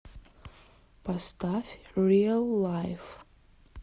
поставь риал лайф